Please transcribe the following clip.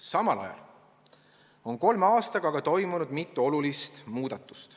Samal ajal on kolme aastaga toimunud mitu olulist muudatust.